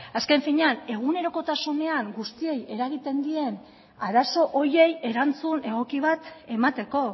azken finean egunerokotasunean guztiei eragiten dien arazo horiei erantzun egoki bat emateko